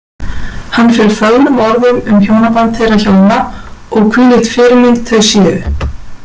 Hann fer fögrum orðum um hjónaband þeirra hjóna og hvílík fyrirmynd þau séu.